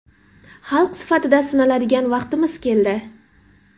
Xalq sifatida sinaladigan vaqtimiz keldi.